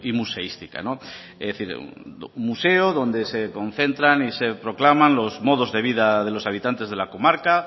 museística es decir un museo donde se concentran y se proclaman los modos de vida de los habitantes de la comarca